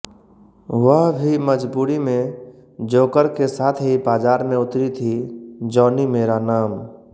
वह भी मजबूरी में जोकर के साथ ही बाजार में उतरी थी जॉनी मेरा नाम